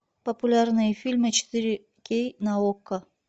популярные фильмы четыре кей на окко